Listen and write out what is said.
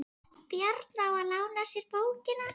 Bjarna á að lána sér bókina.